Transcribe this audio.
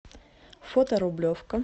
фото рублевка